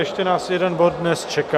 Ještě nás jeden bod dnes čeká.